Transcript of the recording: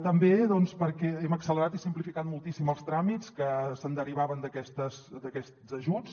també doncs perquè hem accelerat i simplificat moltíssim els tràmits que se’n derivaven d’aquests ajuts